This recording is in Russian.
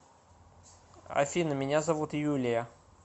афина меня зовут юлия